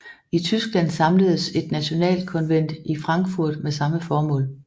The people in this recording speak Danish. I Tyskland samledes et nationalkonvent i Frankfurt med samme formål